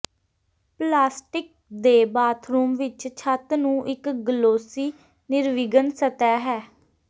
plastic ਦੇ bathroom ਵਿੱਚ ਛੱਤ ਨੂੰ ਇੱਕ ਗਲੋਸੀ ਨਿਰਵਿਘਨ ਸਤਹ ਹੈ